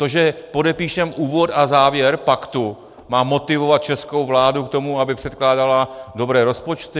To, že podepíšeme úvod a závěr paktu, má motivovat českou vládu k tomu, aby předkládala dobré rozpočty?